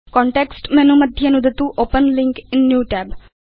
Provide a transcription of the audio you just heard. context menu मध्ये नुदतु open link in new tab